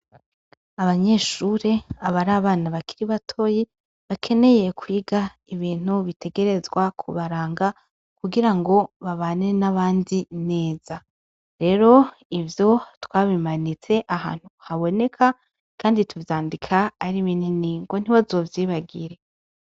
Abanyeshure abari abana bakiri batoye bakeneye kwiga ibintu bitegerezwa kubaranga kugira ngo babane n'abandi neza, rero ivyo twabimanitse ahantu haboneka, kandi tuvyandika ari bineni ngo ntiboazovyibagire.